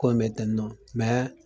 Ko me te non